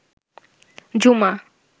জুমা